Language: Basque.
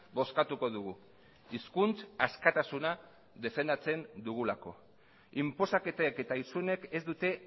bozkatuko dugu hizkuntza askatasuna defendatzen dugulako inposaketek eta isunek ez dute